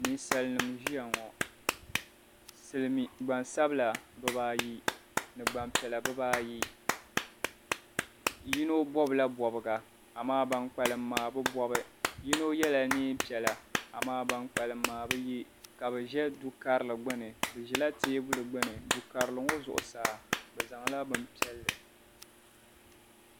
Ninsalinim' ʒiya ŋo silimiin' gbansabila bibaa ayi ni gbampiɛla bibaa ayi yino bɔbila bɔbiga amaa ban kpalim maa bi bɔbi yino yela neempiɛla amaa ban kpalim maa bi ye ka bɛ ʒe dukarili gbuni bɛ ʒɛla teebuli gbuni dukarili ŋo zuɣusaa bɛ zaŋla bim'piɛlli.